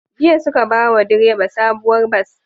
Jiya suka bawa direba sabuwar bas